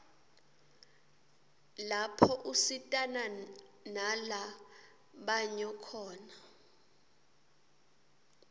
lapho usitana nala banyo khona